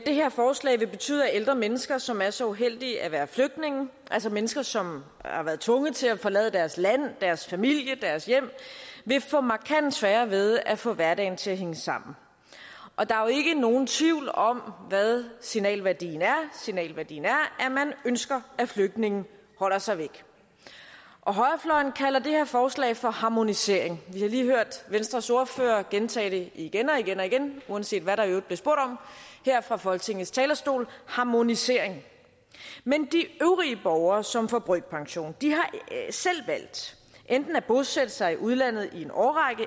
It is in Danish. det her forslag vil betyde at ældre mennesker som er så uheldige at være flygtninge altså mennesker som har været tvunget til at forlade deres land deres familie deres hjem vil få markant sværere ved at få hverdagen til at hænge sammen og der er jo ikke nogen tvivl om hvad signalværdien er signalværdien er at man ønsker at flygtninge holder sig væk højrefløjen kalder det her forslag for harmonisering vi har lige hørt venstres ordfører gentage det igen og igen og igen uanset hvad der i øvrigt blev spurgt om her fra folketingets talerstol harmonisering men de øvrige borgere som får brøkpension har selv valgt enten at bosætte sig i udlandet i en årrække